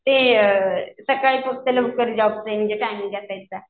ते अ सकाळी फक्त म्हणजे लवकर जॉबचा टाईमिंग असायचा.